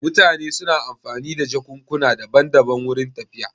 Mutane suna amfani da jakukuna daban daban wurin tafiya